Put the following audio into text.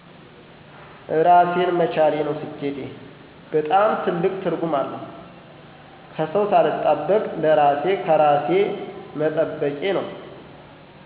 እራሴን መቻሌ ነው ስኬቴ። በጣም ትልቅ ትርጉም አለው። ከሰው ሳልጠብቅ ለራሤ ከራሤ መጠበቄ ነው።